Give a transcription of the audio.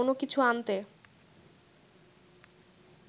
কোনো কিছু আনতে